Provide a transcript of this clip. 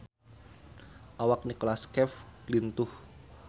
Awak Nicholas Cafe lintuh